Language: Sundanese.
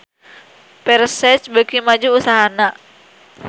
Versace beuki maju usahana